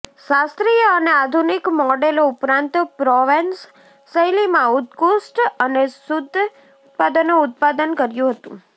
શાસ્ત્રીય અને આધુનિક મોડેલો ઉપરાંત પ્રોવેન્સ શૈલીમાં ઉત્કૃષ્ટ અને શુદ્ધ ઉત્પાદનો ઉત્પાદન કર્યું હતું